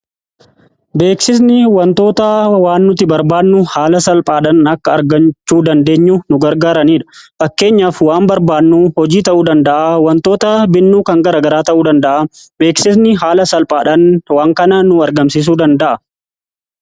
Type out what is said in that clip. Beeksisni wantoota waan nuti barbaannuu haala salphaadhan akka argachuu dandeenyu nu gargaaraniidha. Fakkeenyaaf waan barbaannuu hojii ta'uu danda'a wantoota binnuu kan gara garaa ta'uu danda'a beeksisni haala salphaadhan waan kana nu argamsiisuu danda'a.